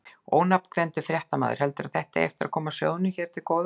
Ónafngreindur fréttamaður: Heldurðu að þetta eigi eftir að koma sjóðnum hér til góða?